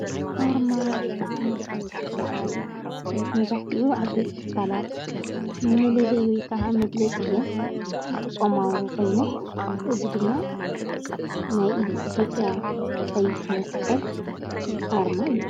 ኣርማ ወይ ከዓ ምልክት ዝበሃል መዛሕቲኡ ዓበይት ትካላት መለለይ ወይ ከዓ መግለጺአን ይጥቀማሉ ኾይነን እዚ ድማ ናይ ኢትዮጵያዊ ቀይሕ መስቀል ኣርማ እዩ።